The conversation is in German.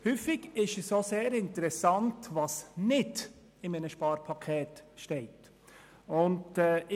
Häufig ist es auch sehr interessant zu sehen, was nicht in einem Sparpaket enthalten ist.